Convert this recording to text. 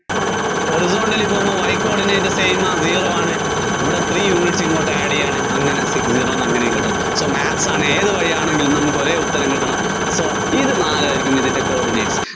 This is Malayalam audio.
horizontally പോകുമ്പോ Y coordinate same ആ zero ആണ്. ഇവിടെ three unit ഇങ്ങോട്ട് add ചെയ്യാണ് അങ്ങനെ zero യിന്ന് അങ്ങനെ ഇങ്ങോട്ടും. so maps ആണ്, ഏതുവഴിയാണെങ്കിലും നമ്മള്‍ക്ക് ഒരേ ഉത്തരം കിട്ടണം, so ഇത് നാലുമായിരിക്കും ഇതിന്‍റെ coordinates.